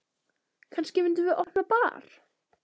Kannski myndum við opna bar.